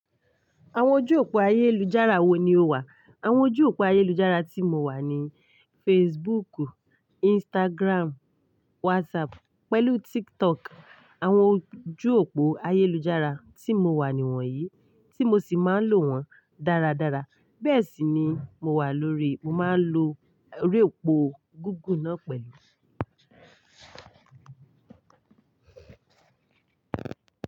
Àwọn ojú òpó ayélujára wo ni o wà? Àwọn ojú òpó ayélujára tí mo wà ni Facebook, Instagram, WhatsApp pẹ̀lú TikTok. Àwọn ojú òpó ayélujára tí mo wà ni wọ̀nyí, tí mo sì máa ń lò wọ́n dáradára. Bẹ́ẹ̀ sì ni mo wà lórí, mo máa ń lo orí òpó gígùn náà pẹ̀lú.